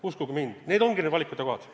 Uskuge mind, need ongi need valikute kohad.